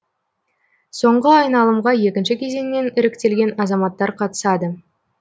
соңғы айналымға екінші кезеңнен іріктелген азаматтар қатысады